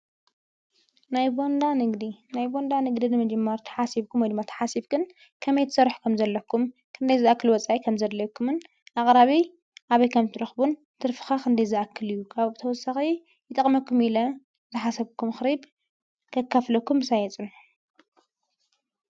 ናይ ቦንዳ ንግዲ ናይ ቦንዳ ንግደድ ንምጀማር ተሓሲብኩም ወይ ተሓሲብክን ከመይ ትሰርሑ ከም ዘለኩም ክንደይ ዝኣክል ወፃይ ከም ዘድለይኩምን ኣቕራቢ ኣበይ ከምትረኽቡን ትርፍኻ ኽንደይ ዝኣክል እዩ ካብኡ ብተወሰኸ ይጠቕመኩም ኢለ ዝሓሰብኩም ምኽሪ ከካፍለኩም ምሳይ ፅንሑ